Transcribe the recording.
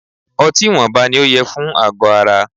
Ọtí ìwọnba ní o yẹ fún àgọ ara.